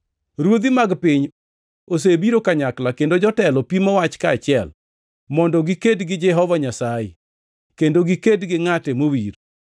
Ruodhi mag piny osebiro kanyakla kendo jotelo pimo wach kaachiel, mondo giked gi Jehova Nyasaye kendo giked gi Ngʼate mowir. + 4:26 Ngʼate Mowiro en Kristo ma Jawar.’ + 4:26 \+xt Zab 2:1,2\+xt*